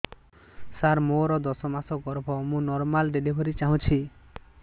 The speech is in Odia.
ସାର ମୋର ଦଶ ମାସ ଗର୍ଭ ମୁ ନର୍ମାଲ ଡେଲିଭରୀ ଚାହୁଁଛି